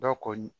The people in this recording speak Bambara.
Dɔw ko